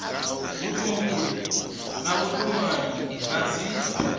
vhutumbuli na vhutumanyi na dzi